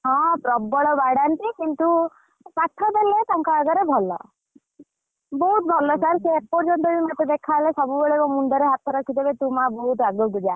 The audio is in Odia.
ହଁ ପ୍ରବଳ ବାଡ଼ାନ୍ତି କିନ୍ତୁ ପାଠ ଦେଲେ ତାଙ୍କ ଆଗରେ ଭଲ ବହୁତ ଭଲ sir ସିଏ ଏପର୍ଯନ୍ତ ବି ମତେ ଦେଖା ହେଲେ ସବୁବେଳେ ମୋ ମୁଣ୍ଡରେ ହାତ ରଖିଦେବେ କହିବେ ତୁ ମା ବହୁତ ଆଗକୁ ଯା!